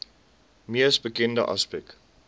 mees bekende aspek